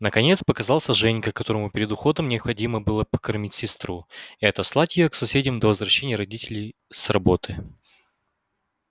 наконец показался женька которому перед уходом необходимо было покормить сестру и отослать её к соседям до возвращения родителей с работы